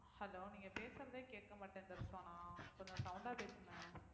hello நீங்க பேசுறதே கேட்க மாட்டேங்குது ரிஸ்வானா கொஞ்சம் sound ஆ பேசுங்க